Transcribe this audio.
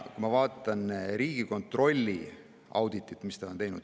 Ma vaatan Riigikontrolli auditit.